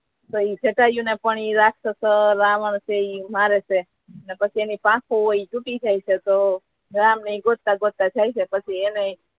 કઈ જટાયુ ને પણ એ રાક્ષસ રાવણ કે ઈ મારે છે તો એની પાખો હોય એ તુટી જાય છે તો રામ ને ગોતતા ગોતતા જાય છે પછી એને